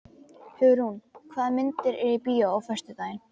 Hugrún, hvaða myndir eru í bíó á föstudaginn?